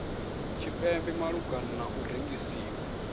tshipembe malugana na u rengisiwa